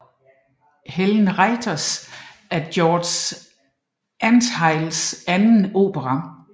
Helen Retires er George Antheils anden opera